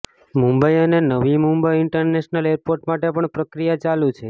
મુંબઈ અને Navi Mumbai international airport માટે પણ પ્રક્રિયા ચાલુ છે